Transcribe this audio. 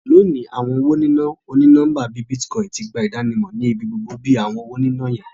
Loni, awọn owo nina oni-nọmba bii Bitcoin ti gba idanimọ ni ibigbogbo bi awọn ọna owo yiyan.